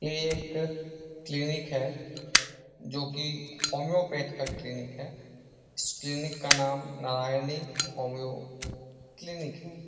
ये एक क्लिनिक है जो कि होम्योपैथ का क्लिनिक है इस क्लिनिक का नाम नरायणी होमिओ क्लिनिक है ।